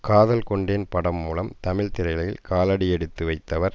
காதல் கொண்டேன் படம் மூலம் தமிழ் திரையுலகில் காலடி எடுத்து வைத்தவர்